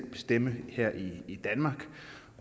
bestemme her i i danmark